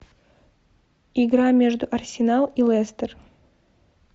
игра между арсенал и лестер